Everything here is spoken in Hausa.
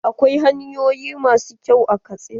Akwai hanyoyin ma su kyau a Katsina.